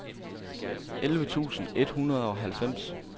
elleve tusind et hundrede og halvfems